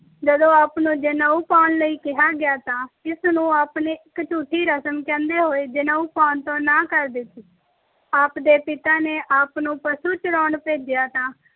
ਜਦੋਂ ਆਪ ਨੂੰ ਜਨੇਊ ਪਾਉਣ ਲਈ ਕਿਹਾ ਗਿਆ, ਤਾਂ ਇਸ ਨੂੰ ਆਪ ਨੇ ਇਕ ਝੂਠੀ ਰਸਮ ਕਹਿੰਦੇ ਹੋਏ ਜਨੇਊ ਪਾਉਣ ਤੋਂ ਨਾਂਹ ਕਰ ਦਿੱਤੀ। ਆਪ ਦੇ ਪਿਤਾ ਨੇ ਆਪ ਨੂੰ ਪਸ਼ੂ ਚਾਰਨ ਭੇਜਿਆ, ਤਾਂ